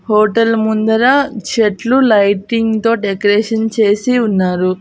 Hotel ముందర చెట్లు lighting తో డెకరేషన్ చేసి ఉన్నారు.